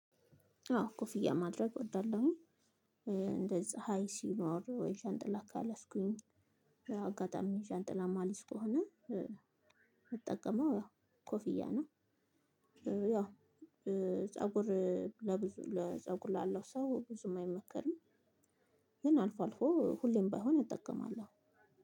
አዎ ኮፍያ ማድረግ እወዳለሁኝ እንደ ፀሀይ ሲኖር ወይ ዣንጥላ ካልያዝኩኝ አጋጣሚ ዣንጥላ ማልይዝ ከሆነ የምጠቀመው ያው ኮፍያ ነው። ያው ፀጉር ለብዙ ለፀጉር ላለው ሰው ብዙም አይመከርም። ግን አልፎ አልፎ ሁሌም ባይሆን እጠቀማለሁ